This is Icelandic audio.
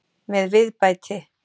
Með viðbæti.